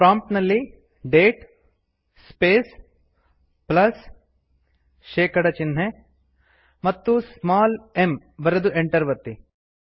prompt ನಲ್ಲಿ date space ಪ್ಲಸ್160 ಶೇಕಡ ಚಿಹ್ನೆ ಮತ್ತು ಸ್ಮಾಲ್ m ಬರೆದು ಎಂಟರ್ ಒತ್ತಿ